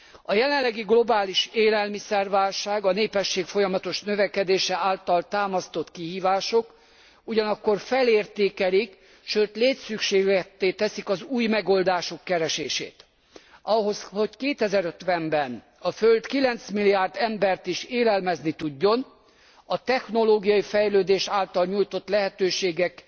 A jelenlegi globális élelmiszerválság a népesség folyamatos növekedése által támasztott kihívások ugyanakkor felértékelik, sőt létszükségletté teszik az új megoldások keresését. Ahhoz, hogy 2050 ben a föld 9 milliárd embert is élelmezni tudjon, a technológiai fejlődés által nyújtott lehetőségek,